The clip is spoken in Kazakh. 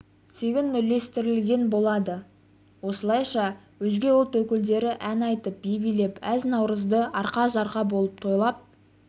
тегін үлестірілетін болады осылайша өзге ұлт өкілдері ән айтып би билеп әз-наурызды арқа-жарқа болып тойлап